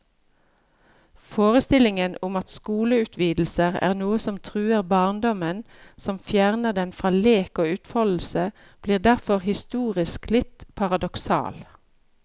Forestillingen om at skoleutvidelser er noe som truer barndommen, som fjerner den fra lek og utfoldelse, blir derfor historisk litt paradoksal.